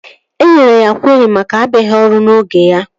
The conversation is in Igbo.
E nyere ya kweri maka abịaghị ọrụ n'oge ya